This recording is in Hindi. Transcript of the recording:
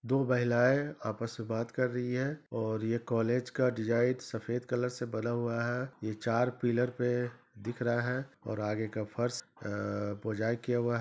दो महिलाएं आपस में बात कर रही हैं और ये कॉलेज का डिजाइन सफेद कलर से बना हुआ है ये चार पिलर पे दिख रहा है और आगै का फर्श अअअ पोजाई किया हुआ--